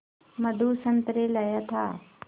मधु संतरे लाया था